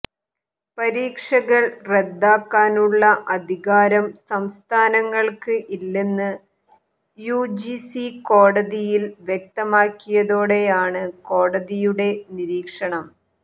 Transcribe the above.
പരീക്ഷകൾ റദ്ദാക്കാനുള്ള അധികാരം സംസ്ഥാനങ്ങൾക്ക് ഇല്ലെന്ന് യുജിസി കോടതിയിൽ വ്യക്തമക്കിയതോടെയാണ് കൊടതിയുടെ നിരീക്ഷണം